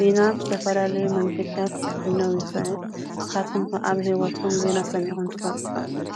ዜና ብዝተፈላለዩ መንገድታት ክፍነው ይክእል ።ንስካትኩም ከ ኣብ ሂወትኩም ዜና ሰሚዕኩም ትፈልጡ ዶ?